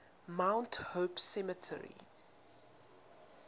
mount hope cemetery